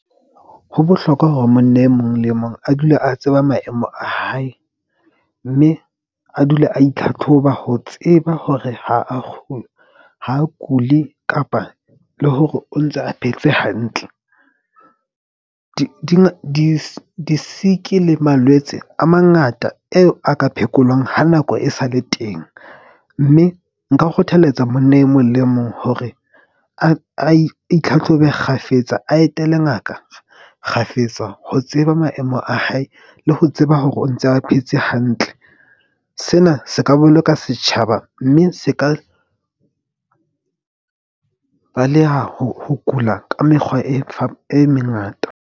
Ho bohlokwa hore monna e mong le mong a dula a tseba maemo a hae mme a dule a itlhatlhoba ho tseba hore ha a ha a kule kapa le hore o ntse a phetse hantle. Di-sick-i le malwetse a mangata eo a ka phekolwang ha nako e sale teng. Mme nka o kgothalletsa monna e mong le mong hore a itlhatlhobe kgafetsa, a etela ngaka kgafetsa, ho tseba maemo a hae le ho tseba hore o ntse a phetse hantle. Sena se ka boloka setjhaba mme se ka baleha ho kula ka mekgwa e e mengata.